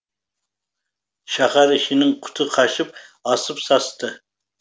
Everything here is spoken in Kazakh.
шаһар ішінің құты қашып асып састы